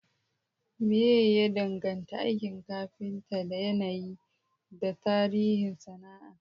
Menene ya danganta aikin kafinta da yanayi da tarihin sana'a?